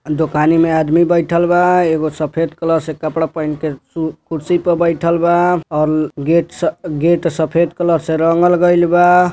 दुकानी में आदमी बइठल बा| एगो सफ़ेद कलर से कपडा पहिंन के कुर्सी पे बइठल बा और गेट स -गेट सफ़ेद कलर से गइलबा।